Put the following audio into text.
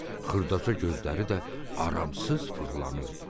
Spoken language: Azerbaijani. Xırdaca gözləri də aramsız fırlanırdı.